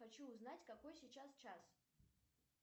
хочу узнать какой сейчас час